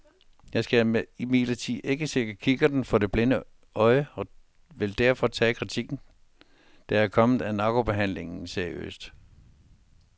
Jeg skal imidlertid ikke sætte kikkerten for det blinde øje og vil derfor tage kritikken, der er kommet af narkobehandling, seriøst.